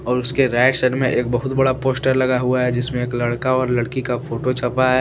और उसके right side मे एक बहुत बड़ा पोस्टर लगा हुआ हैजिसमें एक लड़का और लड़की का फोटो छपा है।